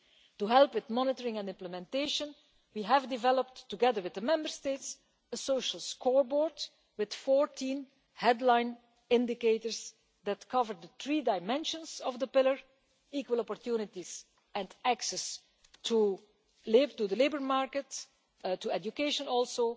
To help with monitoring and implementation we have developed, together with the Member States, a social scoreboard with 14 headline indicators that cover the three dimensions of the pillar equal opportunities and access to the labour market, to education